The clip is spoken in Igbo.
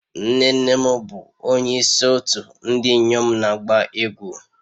Nne nne m bụ onye isi otu ndị inyom na-agba egwu